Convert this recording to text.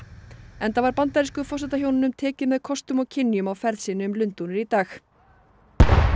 enda var bandarísku forsetahjónunum tekið með kostum og kynjum á ferð sinni um Lundúnir í dag